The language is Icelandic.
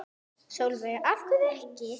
Sólveig: Af hverju ekki?